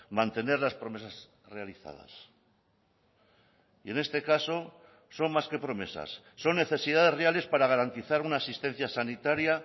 mantener las promesas realizadas y en este caso son más que promesas son necesidades reales para garantizar una asistencia sanitaria